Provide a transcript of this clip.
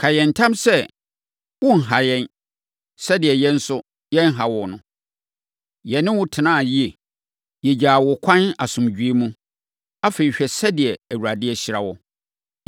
Ka yɛn ntam sɛ, worenha yɛn, sɛdeɛ yɛn nso, yɛanha wo no. Yɛne wo tenaa yie. Yɛgyaa wo kwan asomdwoeɛ mu. Afei, hwɛ sɛdeɛ Awurade ahyira wo.”